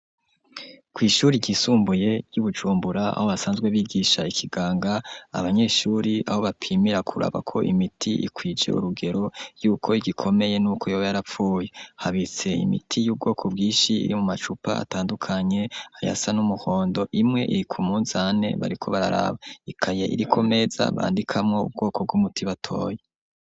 Kwi ishuri ryisumbuye ryi Bujumbura aho basanzwe bigisha ikiganga abanyeshuri aho bapimira kuraba ko imiti ikwice urugero y'uko igikomeye n'uko yobe yarapfuye habitse imiti y'ubwoko bwishi iri mu macupa atandukanye ayasa n'umuhondo imwe iri ku munzane bariko bararaba ikaye iriko meza bandikamo ubwoko bw'umuti batoye.